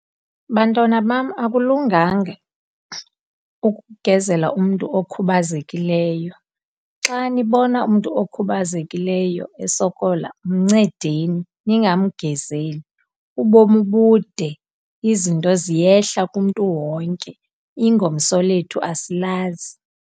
Bantwana bam, akulunganga ukugezela umntu okhubazekileyo. Xa nibona umntu okhubazekileyo esokola mncedeni, ningamgezeli. Ubomi bude, izinto ziyehla kumntu wonke, ingomso lethu asilazi.